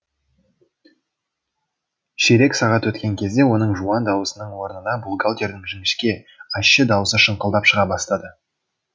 ширек сағат өткен кезде оның жуан даусының орнына бухгалтердің жіңішке ащы даусы шаңқылдап шыға бастады